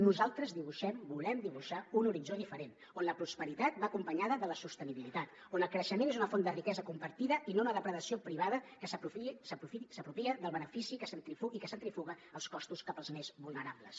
nosaltres dibuixem volem dibuixar un horitzó diferent on la prosperitat va acompanyada de la sostenibilitat on el creixement és una font de riquesa compartida i no una depredació privada que s’apropia del benefici i que centrifuga els costos cap als més vulnerables